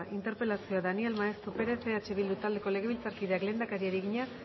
interpelazioa daniel maeztu perez eh bildu taldeko legebiltzarkideak lehendakariari egina